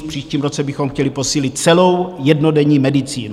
V příštím roce bychom chtěli posílit celou jednodenní medicínu.